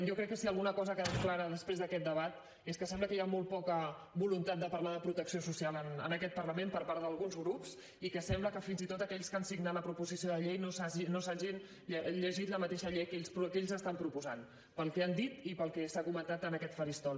jo crec que si alguna cosa ha quedat clara després d’aquest debat és que sembla que hi ha molt poca voluntat de parlar de protecció social en aquest parlament per part d’alguns grups i que sembla que fins i tot aquells que han signat la proposició de llei no s’hagin llegit la mateixa llei que ells estan proposant pel que han dit i pel que s’ha comentat en aquest faristol